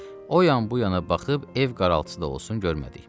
O yan bu yana baxıb ev qaraltısı da olsun görmədik.